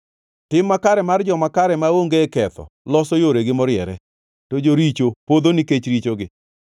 Tim makare mar joma kare maonge ketho loso yoregi moriere, to joricho podho nikech richogi.